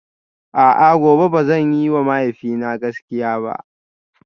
A'a gobe ba zan yiwa mahaifina gaskiya ba?